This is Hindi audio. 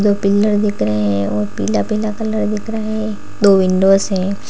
पिलर दिख रहे हैं और पीला पीला कलर दिख रहा है दो विंडोज हैं।